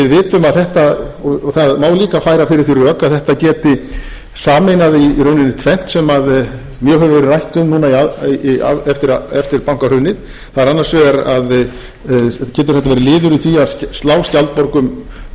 það má líka færa fyrir því rök að þetta geti sameinað í rauninni tvennt sem mjög hefur verið rætt um núna eftir bankahrunið það er annars vegar getur þetta verið liður í því að slá skjaldborg um stöðu heimilanna